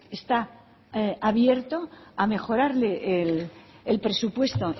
está abierto a mejorarle el presupuesto